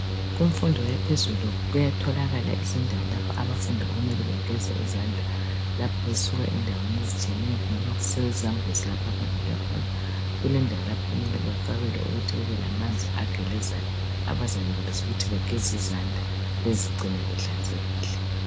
Kumfundo yaphezulu kuyatholakala izindawo lapha abafundi okumele begeze izandla lapha besuka endaweni ezitshiyeneyo, kungabe kusezambuzi lapha abavela khona kulendawo lapha okumele bafakelwe khona ukuthi kubelamanzi agelezayo, abazayenelisa ukuthi bageze izandla bezigcine zihlanzekile.